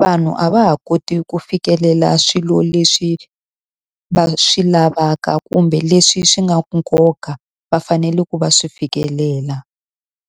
vanhu a va ha koti ku fikelela swilo leswi va swi lavaka kumbe leswi swi nga nkoka va fanele ku va swi fikelela.